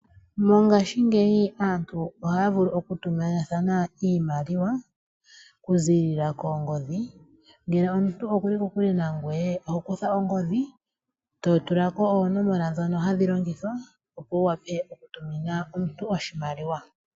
Mongaashingeyi aantu ohaya vulu oku tumina thana iimaliwa oku ziilila koongodhi, ngele omuntu okuli kokule nangweye oho kutha ongodhi, to tula ko oonomola dhoka hadhi longithwa opo wu wape oku tumina omuntu oshimaliwa.